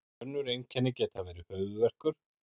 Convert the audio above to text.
önnur einkenni geta verið höfuðverkur